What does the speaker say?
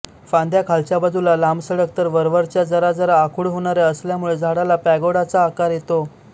फांद्या खालच्या बाजूला लांबसडक तर वरवरच्या जरा जरा आखूड होणाऱ्या असल्यामुळे झाडाला पॅगोडाचा आकार येतो